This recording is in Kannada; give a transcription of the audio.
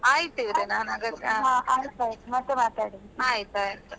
ಹಾ ಆಯ್ತ್ ಹಾಗಾದ್ರೆ.